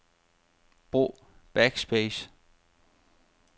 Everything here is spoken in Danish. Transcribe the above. Brug backspace.